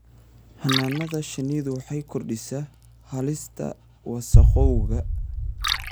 Xannaanada shinnidu waxay kordhisaa halista wasakhowga.